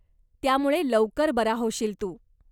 त्यामुळे लवकर बरा होशील तू.